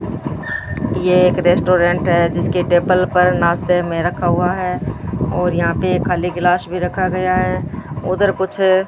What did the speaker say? ये एक रेस्टोरेंट है जिसके टेबल पर नाश्ते में रखा हुआ है और यहां पे खाली ग्लास भी रखा गया है उधर कुछ --